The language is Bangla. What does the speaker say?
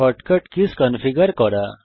শর্টকাট কীজ কনফিগার করা